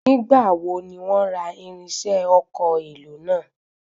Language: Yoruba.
Nígbà wo ni wọ́n ra irinṣẹ́ ọkọ̀ èlò náà?